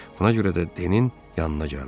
Buna görə də Denin yanına gəldi.